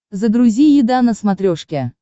загрузи еда на смотрешке